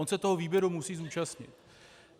On se toho výběru musí zúčastnit.